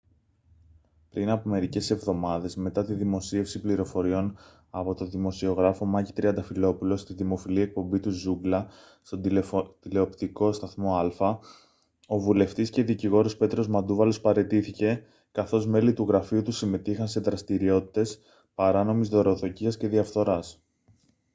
πριν από μερικές εβδομάδες μετά τη δημοσίευση πληροφοριών από τον δημοσιογράφο μάκη τριανταφυλόπουλο στη δημοφιλή εκπομπή του «ζούγκλα» στον τηλεοπτικό σταθμό άλφα ο βουλευτής και δικηγόρος πέτρος μαντούβαλος παραιτήθηκε καθώς μέλη του γραφείου του συμμετείχαν σε δραστηριότητες παράνομης δωροδοκίας και διαφθοράς